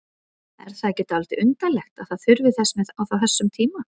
Er það ekki dálítið undarlegt að það þurfi þess með á þessum tíma?